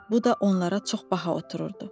Bu da onlara çox baha otururdu.